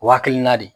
O hakilina de